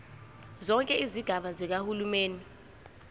zonke izigaba zikahulumeni